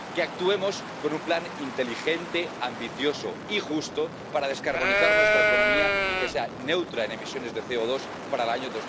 Que actuemos con un plan inteligente, ambicioso y justo para descarbonizar nuestra economía y que sea neutra en emisiones de CO2 para el año